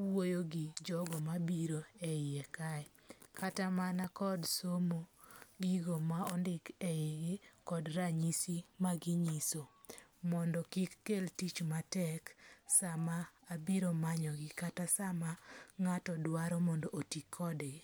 wuoyo gi jogo mabiro e yie kae. Kata mana kod somo, gigo ma ondik e yigi kod ranyisi ma ginyiso mondo kik kel tich matek sama abiro manyogi kata sama ng'ato dwaro mondo oti kodgi.